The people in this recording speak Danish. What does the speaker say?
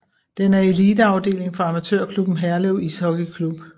Den er eliteafdeling for amatørklubben Herlev Ishockey Klub